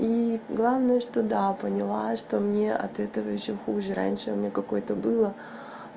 и главное что да поняла что мне от этого ещё хуже раньше у меня какой-то было